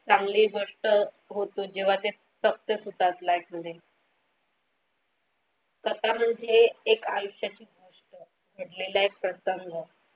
चांगली गोष्ट होतो जेव्हा ते SUCCESS होतात LIFE मध्ये स्वतःला जे एक आयुष्याची गोष्ट घडलेला एक प्रसंग.